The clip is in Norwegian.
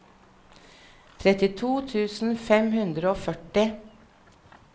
trettito tusen fem hundre og førti